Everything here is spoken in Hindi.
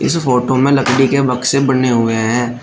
इस फोटो में लकड़ी के बक्से बने हुए हैं।